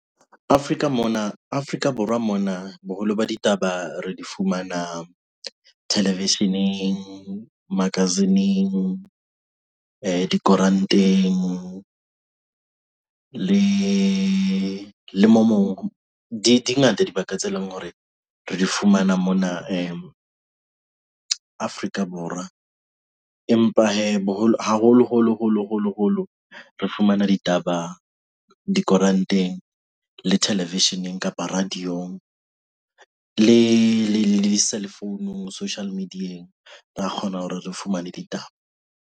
Afrika mona, Afrika Borwa mona boholo ba ditaba re di fumana television-eng magazine-eng, dikoranteng. Le le mo moo, di di ngata dibaka tse leng hore re di fumana mona Afrika Borwa. Empa hee boholo, haholo holo, holo, holo holo re fumana ditaba dikoranteng le television-eng kapa radio-ng le cellphone-nung social media-eng ra kgona hore re fumane ditaba.